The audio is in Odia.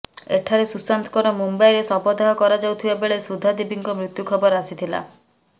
ଏଠାରେ ସୁଶାନ୍ତଙ୍କର ମୁମ୍ବାଇରେ ଶବଦାହ କରାଯାଉଥିବା ବେଳେ ସୁଧା ଦେବୀଙ୍କ ମୃତ୍ୟୁ ଖବର ଆସିଥିଲା